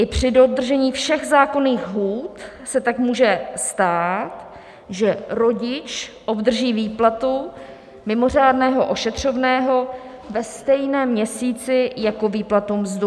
I při dodržení všech zákonných lhůt se tak může stát, že rodič obdrží výplatu mimořádného ošetřovného ve stejném měsíci jako výplatu, mzdu.